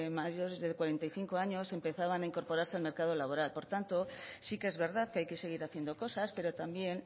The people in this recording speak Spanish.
mayores de cuarenta y cinco años empezaban a incorporarse al mercado laboral por tanto sí que es verdad que hay que seguir haciendo cosas pero también